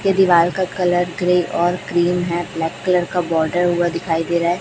के दीवाल का कलर ग्रे और क्रीम है ब्लैक कलर का बॉर्डर हुआ दिखाई दे रहा--